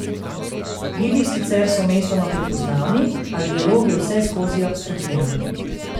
Gibi sicer so mestoma prepoznavni, a dialog je vseskozi abstrahiran.